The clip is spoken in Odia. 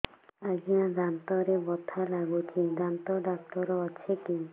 ଆଜ୍ଞା ଦାନ୍ତରେ ବଥା ଲାଗୁଚି ଦାନ୍ତ ଡାକ୍ତର ଅଛି କି